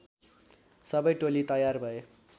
सबै टोली तयार भए